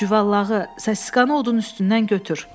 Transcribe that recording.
Cüvallağı, səssizkanı odun üstündən götür!